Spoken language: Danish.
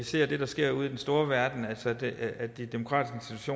ser det der sker ude i den store verden altså at de demokratiske